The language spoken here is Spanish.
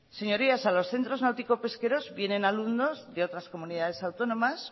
señorías a los centros náuticos pesqueros vienen alumnos de otras comunidades autónomas